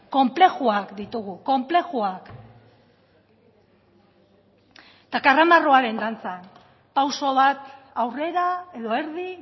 konplexuak ditugu konplexuak eta karramarroaren dantza pauso bat aurrera edo erdi